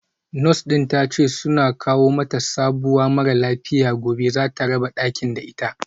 Nurse din tace suna kawo mata sabuwa mara lafiya gobe zata raba dakin da ita